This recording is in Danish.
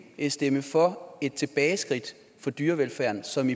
stemme for et tilbageskridt for dyrevelfærden som